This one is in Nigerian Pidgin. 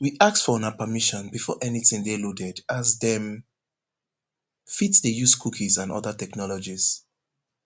we ask for una permission before anytin dey loaded as dem fit dey use cookies and oda technologies